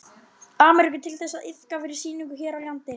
Ameríku til þess að liðka fyrir sýningum hér á landi.